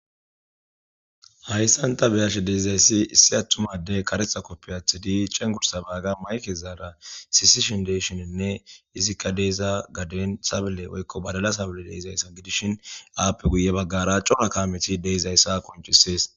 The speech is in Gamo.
Hayssanta beyashe deizayssi issi attumade karexa koppi athi di cengursabaaga mayke zaara sisishin deshoninne izikka deeza gaden sable woykko badala sable deizayssa gidishin aappe guye baggara cora kaameti deeizayssa qoncisees.